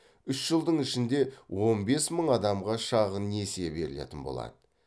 үш жылдың ішінде он бес мың адамға шағын несие берілетін болады